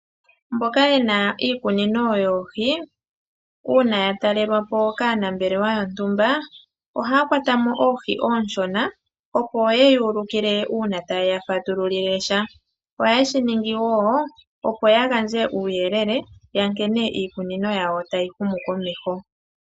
Mboka yena iikunino yoohi, uuna yatalelwapo kaanambelewa yontumba ohaya kwatamo oohi ooshona opo ye yuulikile uuna taye yafatululile sha. Ohaye shiningi wo opo yagandje uuyelele yankene iikunino yawo tayi humu komeho.